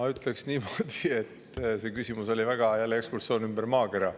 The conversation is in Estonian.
Ma ütleksin, et see küsimus oli jälle ekskursioon ümber maakera.